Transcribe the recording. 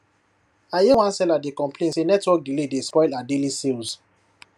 i hear one seller dey complain say network delay dey spoil her daily sales